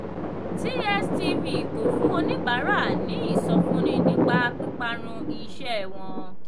tstv kò fún oníbàárà ní ìsọfúnni nípa píparun iṣẹ́ wọn.